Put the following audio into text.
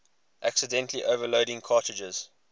accidentally overloading cartridges